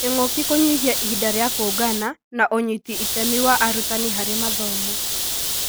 Kĩngũki kũnyihia ihinda rĩa kũngana na ũnyiti itemi wa arutani harĩ mathomo